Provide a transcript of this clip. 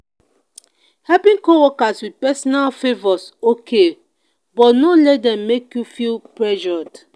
helping co-workers with personal favors okay but no let them make you feel pressured.